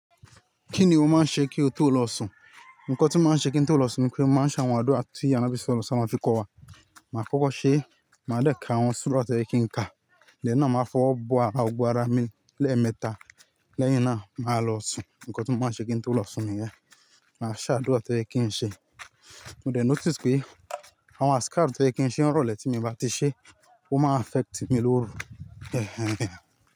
Kí ni o máa ń ṣe kí o tó lọ sùn? Nkan tí mó máa ń ṣe kí n tó lọ sùn ni pé mo máa ń ṣàwọn àádùrá ti Anọ s.a.w fi kọ́ wa. Màá kọkọ́ ṣe, màá dẹ ka àwọn surah to yẹ kí n ka. Then na, máa fọwọ́ bọ ara, gbogbo ara mi lẹ́ẹ̀mẹta, lẹ́yìn náà màá lọ sùn. Nkọ̀ tí mó máa ń ṣe kí n tó lọ sùn nìyẹn. Màá ṣàdúrà tó yẹ kí n ṣe. Mo dé notice pé àwọn athkar tó yẹ kí n ṣe ń rọ̀lẹ́ tí mi o bá ti ṣe, ó máa affect mi lóru.